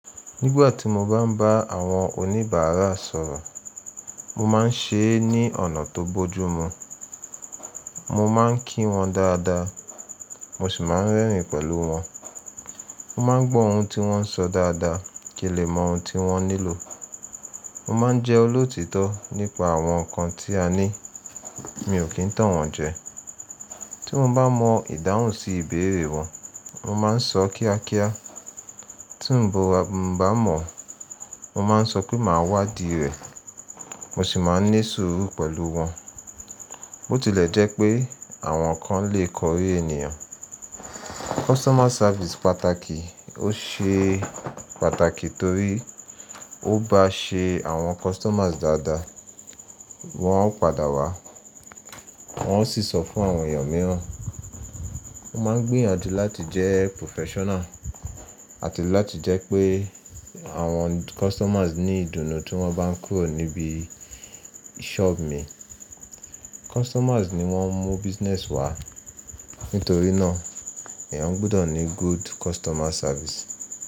Nígbà tí mo bá ń bá àwọn oníbàárà sọ̀rọ̀, mo máa ń ṣe é ní ọ̀nà tó bójú mu. Mo máa ń kí wọn dáadáa, mo sì máa ń rẹ́rìn pẹ̀lú wọn. Mo máa ń gbọ́ ohun tí wọ́n ń sọ dáadáa kí n lè mọ ohun tí wọ́n nílò. Mo máa ń jẹ́ olótítọ́ nípa àwọn nǹkan tí a ní, mi ò kí ń tàn wọ́n jẹ. Tí mo bá mọ ìdáhùn sí ìbéèrè wọn, mo máa ń sọ kíákíá, tí ǹ bo bá mọ̀, mo máa ń sọ pé màá wádìí rẹ̀, mo sì máa ń ní sùúrù pẹ̀lú wọn. Bó tilẹ̀ jẹ́ pé àwọn kan lè kọrí ènìyàn. Customer service pàtàkì. Ó ṣe pàtàkì torí ó bá ṣe àwọn customers dáadáa, wọ́n o padà wá, wọ́n ó sì sọ fún àwọn èèyàn mìíràn. Mo máa ń gbìyànjú láti jẹ́ professional àti láti jẹ́ pé àwọn customers ní ìdùnnú tí wọ́n bá ń kúrò níbi shop mi. Customers ni wọ́n ń mú business wá, nítorí náà èèyàn gbọ́dọ̀ ní good customer service.